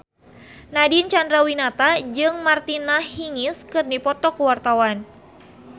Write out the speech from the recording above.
Nadine Chandrawinata jeung Martina Hingis keur dipoto ku wartawan